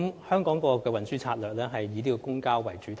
香港政府的運輸策略是以公共交通為主體。